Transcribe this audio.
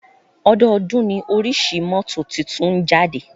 Ọdọọ́dún ní oríṣi mọ́tò tuntun ń jáde.